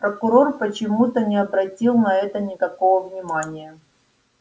прокурор почему-то не обратил на это никакого внимания